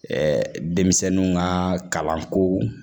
Ɛɛ denmisɛnnu ka kalanko